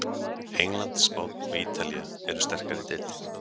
England, Spánn og Ítalía eru sterkari deildir.